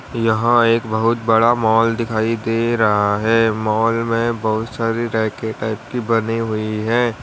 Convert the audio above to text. यहां एक बहुत बड़ा मॉल दिखाई दे रहा है। मॉल में बहुत सारी रैके टाइप की बनी हुई है।